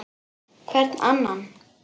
Hvern annan!